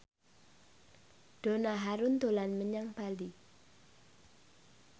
Donna Harun dolan menyang Bali